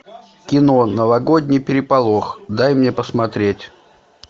кино новогодний переполох дай мне посмотреть